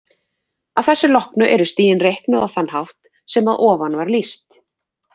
Að þessu loknu eru stigin reiknuð á þann hátt sem að ofan var lýst.